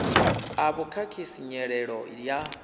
a vhu khakhisi nyelelo ya